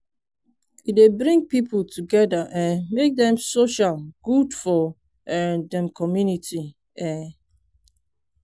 e dey bring people together um make dem social good for um dem community. um